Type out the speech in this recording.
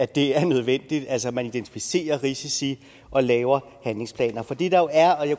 det er nødvendigt altså at man identificerer risici og laver handlingsplaner for det